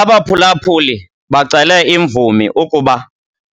Abaphulaphuli bacele imvumi ukuba